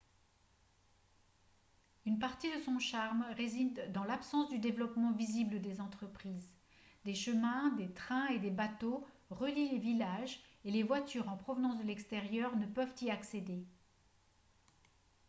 une partie de son charme réside dans l'absence de développement visible des entreprises des chemins des trains et des bateaux relient les villages et les voitures en provenance de l'extérieur ne peuvent y accéder